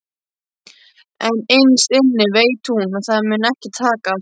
En innst inni veit hún að það mun ekki takast.